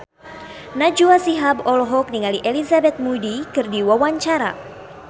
Najwa Shihab olohok ningali Elizabeth Moody keur diwawancara